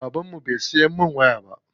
Baban mu bai siya min waya ba.